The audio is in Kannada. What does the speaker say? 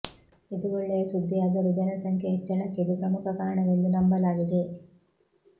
ಇದು ಒಳ್ಳೆಯ ಸುದ್ದಿಯಾದರೂ ಜನಸಂಖ್ಯೆಯ ಹೆಚ್ಚಳಕ್ಕೆ ಇದು ಪ್ರಮುಖ ಕಾರಣವೆಂದು ನಂಬಲಾಗಿದೆ